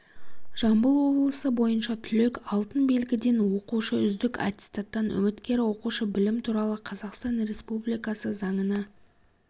жамбыл облысы бойынша түлек алтын белгіден оқушы үздік аттестаттан үміткер оқушы білім туралы қазақстан республикасы заңына